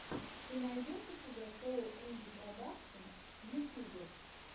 ты найдешь у себя шоу энди продакшн в ютьюбе